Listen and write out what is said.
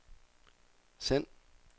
send